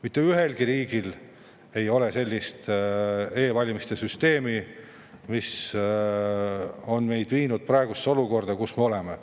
Mitte ühelgi riigil ei ole sellist e-valimiste süsteemi, mis on meid viinud olukorda, kus me praegu oleme.